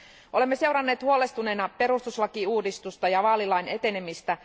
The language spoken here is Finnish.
Olemme seuranneet huolestuneina perustuslakiuudistusta ja vaalilain etenemistä.